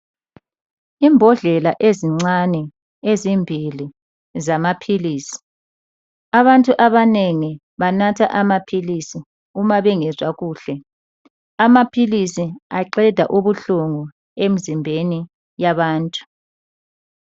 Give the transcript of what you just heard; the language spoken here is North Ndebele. Imbodlela ezincane ezimbili zamaphilisi. Abantu abanengi banatha amaphilisi uma bengezwa kuhle. Amaphilisi aqeda ubuhlungu emzimbeni yabantu.